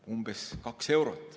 Umbes kaks eurot.